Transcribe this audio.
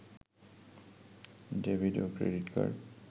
debit ও credit card